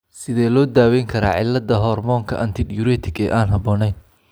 Sidee loo daweyn karaa cilladda hoormoonka antidiuretic ee aan habboonayn?